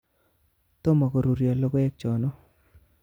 Tomo koruryo loko'ek cho'no